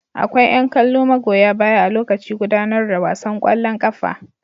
Akwai yan kallo magoya baya a lokaci gudanar da wasan kwallon kafa.